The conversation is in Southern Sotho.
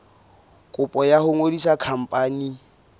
kopo ya ho ngodisa khampani